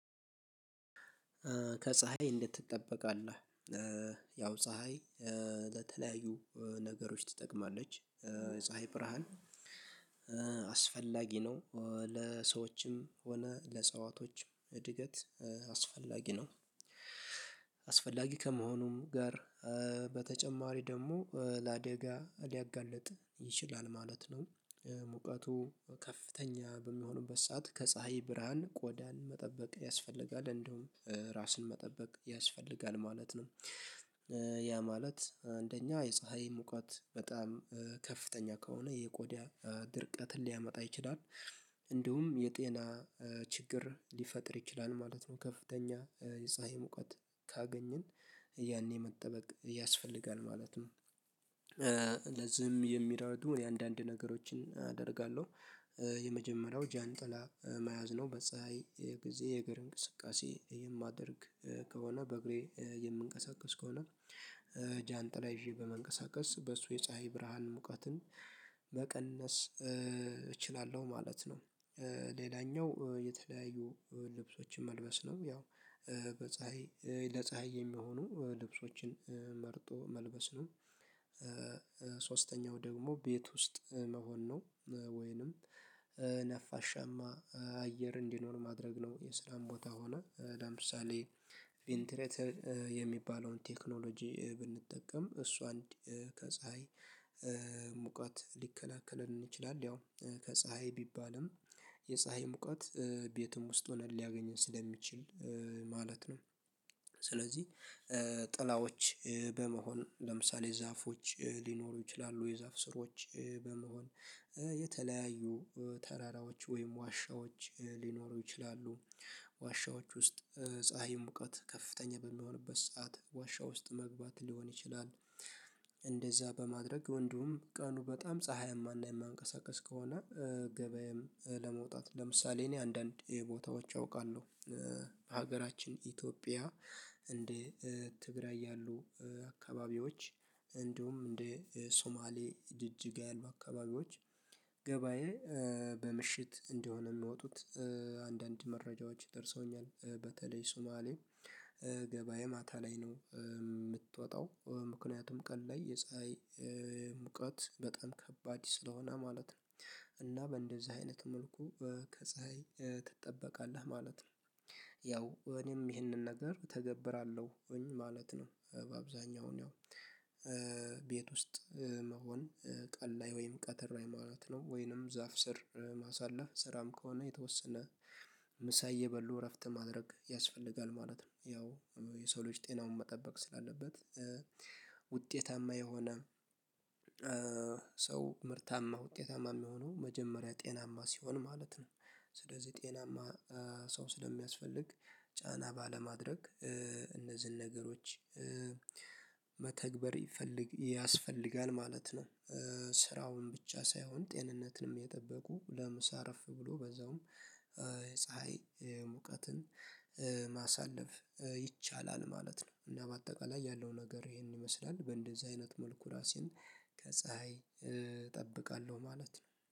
ከፀሀይ እንዴት ትጠበቃለህ? ያው ፀሀይ ለተለያዩ ነገሮች ትጠቅማለች ፀሀይ ብርሃን አስፈላጊ ነው ለሰዎችም ሆነ ለእጽዋቶች እድገት አስፈላጊ ነው፤ አስፈላጊ ከመሆኑም ጋር በተጨማሪ ደግሞ ለአደጋ ሊያጋልጥ ይችላል ማለት ነው፤ ሙቀቱ ከፍተኛ በሚሆንበት ሰዓት ከፀሀይ ብርሃን ቆዳን መጠበቅ ያስፈልጋል እንደውም ራስን መጠበቅ ያስፈልጋል ማለት ነው፤ ያ ማለት አንደኛ የፀሀይ ሙቀት በጣም ከፍተኛ ከሆነ የቆዳ ድርቀትን ሊያመጣ ይችላል እንዲሁም የጤና ችግር ሊፈጥር ይችላል ማለት ነው ከፍተኛ የፀሀይ ሙቀት ካገኘን ያኔ መጠበቅ ያስፈልጋል ማለት ነው፤ ለዚህም የሚረዱ የአንዳንድ ነገሮችን አደርጋለሁ፤ የመጀመሪያው ጃንጥላ መያዝ ነው፤ በፀሀይ ጊዜ የእግር እንቅስቃሴ የማደርግ ከሆነ በእግሬ የምንቀሳቀስ ከሆነ ጃንጥላ ይዤ በመንቀሳቀስ በሱ የፀሀይ ብርሃን ሙቀትን መቀነስ እችላለሁ ማለት ነው። ሌላኛው የተለያዩ ልብሶችን መልበስ ነው ያው በፀሀይ ለፀሀይ የሚሆኑ ልብሶችን መርጦ መልበስ ነው ሶስተኛው ደግሞ ቤት ውስጥ መሆን ነ፤ ወይንም ነፋሻማ አየር እንዲኖር ማድረግ ነው የሰላም ቦታ ሆነ ለምሳሌ ቬንተሬተር የሚባለውን ቴክኖሎጂ ብንጠቀም እሱ አንድ ከፀሀይ ሙቀት ሊከላከለን ይችላል ያው ከፀሀይ ቢባልም የፀሀይ ሙቃት ቤቱም ውስጥ ሆነን ሊያገኘን ስለሚችል ማለት ነው፤ ስለዚህ ጥላዎች በመሆን ለምሳሌ ዛፎች ሊኖሩ ይችላሉ የዛፍ ስሮች በመሆን የተለያዩ ተራራዎች ወይም ዋሻዎች ሊኖሩ ይችላሉ ዋሻዎች ውስጥ ፀሀይም ሙቀት ከፍተኛ በሚሆንበት ሰዓት ዋሻ ውስጥ መግባት ሊሆን ይችላል እንደዛ በማድረግ ወንዱም ቀኑ በጣም ፀሀይማና የማያንቀሳቀስ ከሆነ ገበያዬም ለመውጣት ለምሳሌ እኔ አንዳንድ ቦታዎች አውቃለሁ በሀገራችን ኢትዮጵያ እንዴ ትግራይ ያሉ አካባቢዎች እንዲሁም እንደ ሶማሌ ጅጅግ ያሉ አካባቢዎች ገበያ በምሽት እንደሆነ የሚወጡት አንዳንድ መረጃዎች ደርሰውኛል በተለይ ሱማሌ ገበያ ማታ ላይ ነው የምትወጣው ምክንያቱም ቀን ላይ የፀሀይ ሙቀት በጣም ከባድ ስለሆነ ማለት ነው እና በእንደዚህ አይነት መልኩ ከፀሀይ ትጠበቃለህ ማለት ነው ያው እኔም ይህንን ነገር እተገብራለሁኝ ማለት ነው በአብዛኛው ያው ቤት ውስጥ መሆን ቀን ላይ ወይም ቀትር ላይ ማለት ነው ወይንም ዛፍ ስር ማሳለፍ ስራም ከሆነ የተወሰነ ምሳዬ በሉ እረፍት ማድረግ ያስፈልጋል ማለት ነው፤ ያው የሰው ልጅ ጤናውን መጠበቅ ስላለበት ውጤታማ የሆነ ሰው ምርታማ ውጤታማ የሚሆነው መጀመሪያ ጤናማ ሲሆን ማለት ነው ስለዚህ ጤናማ ሰው ስለሚያስፈልግ ጫና ባለማድረግ እነዚህን ነገሮች መተግበር ይፈልግ ያስፈልጋል ማለት ነው ስራውን ብቻ ሳይሆን ጤንነትንም የጠበቁ ለምሳ እረፍ ብሎ በዛውም ፀሀይ ሙቀትን ማሳለፍ ይቻላል ማለት ነው እና በአጠቃላይ ያለው ነገር ይሄንን ይመስላል በእንደዚህ አይነት መልኩ ራሴን ከፀሀይ እጠብቃለሁ ማለት ነው።